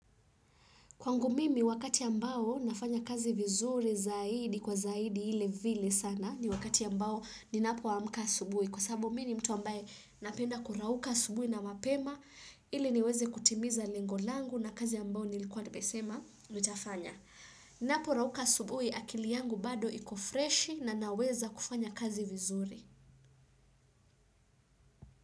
Kwangu mimi wakati ambao nafanya kazi vizuri zaidi kwa zaidi ile vile sana ni wakati ambao ninapoamka asubui. Kwa sabbabu mi ni mtu ambaye napenda kurauka asubui na mapema ili niweze kutimiza lengo langu na kazi ya mbao nilikuwa nimesema. Nitafanya. Napo rauka asubui akili yangu bado ikofreshi na naweza kufanya kazi vizuri.